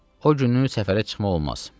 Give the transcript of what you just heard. O günü səfərə çıxmaq olmaz.